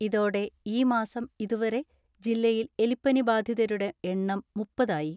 ഇതോടെ ഈമാസം ഇതുവരെ ജില്ലയിൽ എലിപ്പനി ബാധിതതരുടെ എണ്ണം മുപ്പത് ആയി.